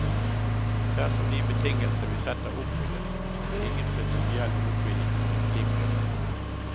Dersom de betingelser vi setter oppfylles, har vi ingen prinsipiell motvilje mot en slik løsning.